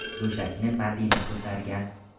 Go‘shakni Madina ko‘targan.